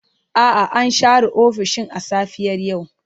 A'a, an share ofishin a safiyar yau.